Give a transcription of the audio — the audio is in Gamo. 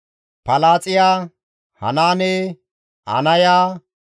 Palaaxiya, Hanaane, Anaya,